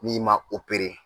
N'i ma o pere